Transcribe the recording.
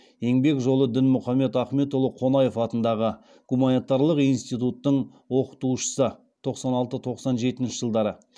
еңбек жолы дінмұхаммед ахмет қонаев атындағы гуманитарлық институттың оқытушысы